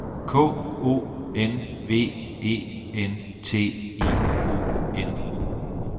K O N V E N T I O N